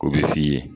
O bɛ f'i ye